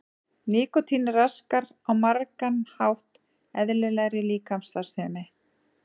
Nikótín raskar á margan hátt eðlilegri líkamsstarfsemi.